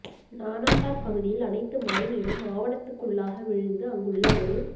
நானாட்டான் பகுதியில் அனைத்து மழை நீரும் ஆவணத்துக்குள்ளாக விழுந்து அங்குள்ள ஒரு